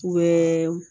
U bɛ